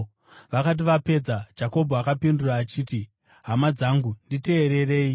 Vakati vapedza, Jakobho akapindura achiti, “Hama dzangu, nditeererei.